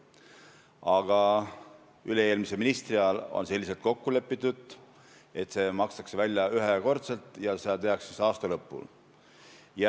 Aga üle-eelmise ministri ajal on kokku lepitud, et see makstakse välja ühekorraga ja seda tehakse aasta lõpul.